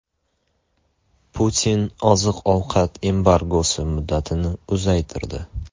Putin oziq-ovqat embargosi muddatini uzaytirdi.